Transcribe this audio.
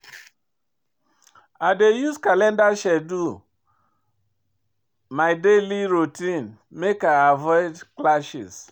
I dey use calendar schedule my daily routine make I avoid clashes.